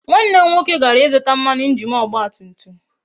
Nwanne m nwoke gara ịzụta mmanụ injin ọgba tum tum